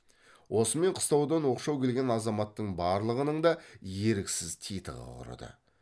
осымен қыстаудан оқшау келген азаматтың барлығының да еріксіз титығы құрыды